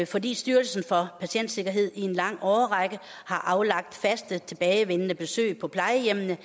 fordi styrelsen for patientsikkerhed i en lang årrække har aflagt faste tilbagevendende besøg på plejehjemmene